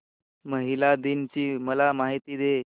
महिला दिन ची मला माहिती दे